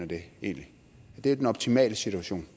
det er den optimale situation